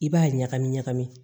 I b'a ɲagami ɲagami